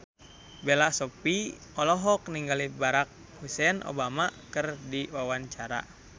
Bella Shofie olohok ningali Barack Hussein Obama keur diwawancara